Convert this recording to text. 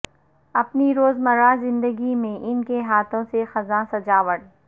اپنی روز مرہ زندگی میں ان کے ہاتھوں سے خزاں سجاوٹ